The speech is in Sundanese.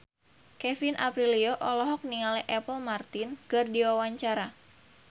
Kevin Aprilio olohok ningali Apple Martin keur diwawancara